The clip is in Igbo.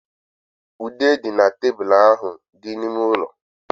Ude dị nọ na tebụl ahụ dị n'ime ụlọ.